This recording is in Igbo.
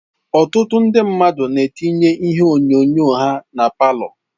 Ọtụtụ ndị mmadụ na-etinye ihe onyonyo ha na palọ.